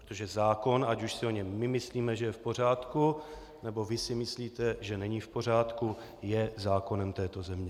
Protože zákon, ať už si o něm my myslíme, že je v pořádku, nebo vy si myslíte, že není v pořádku, je zákonem této země.